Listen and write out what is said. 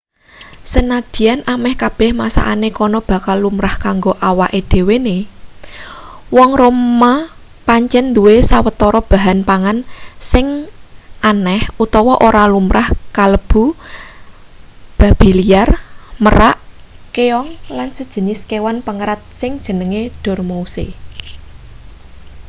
sanadyan ameh kabeh masakane kana bakal lumrah kanggo awake dhewehewe wong roma pancen duwe sawetara bahan pangan sing aneh utawa ora lumrah kalebu babi liar merak keong lan sajinis kewan pengerat sing jenenge dormouse